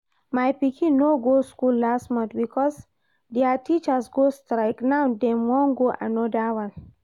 My pikin no go school last month because dia teachers go strike, now dem wan go another one